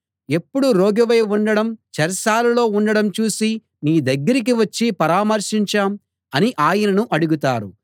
ఎప్పుడు రోగివై ఉండటం చెరసాలలో ఉండడం చూసి నీ దగ్గరికి వచ్చి పరామర్శించాం అని ఆయనను అడుగుతారు